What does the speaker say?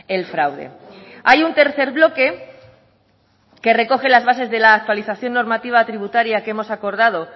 el fraude hay un tercer bloque que recoge las bases de la actualización normativa tributaria que hemos acordado